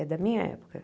É da minha época.